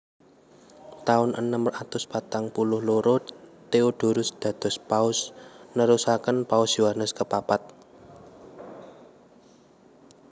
Taun enem atus patang puluh loro Theodorus dados Paus nerusaken Paus Yohanes kepapat